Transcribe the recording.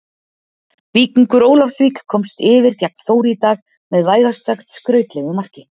Víkingur Ólafsvík komst yfir gegn Þór í dag með vægast sagt skrautlegu marki.